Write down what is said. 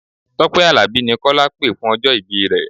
Tọ́pẹ́ Àlàbí ni Kọ́lá pè fún ọjọ́ ìbí rẹ.